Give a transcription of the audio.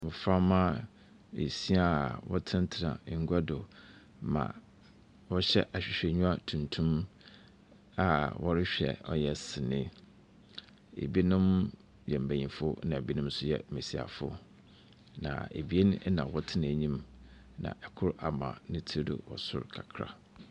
Mmɔframma beesia a wɔtenatena ngua do ma ɔhyɛ awhewheniwa tuntum a ɔrehwɛ ɔyɛ sini. Ebinom yɛ benyinfo na ebinom nso yɛ mmesiafo. na ebien na ɔtena enim na koro ama ne tiri do wɔ soro kakra.